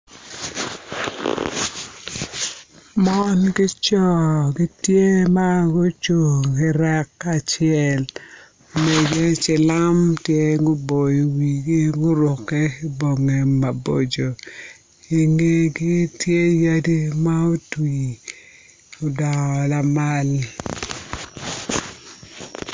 Mon ki co gitye ma gucung i rek acel cilam tye guboyo wigi gurukke ki bongi maboco i ngegi tye yadi ma otwi odngo alamal.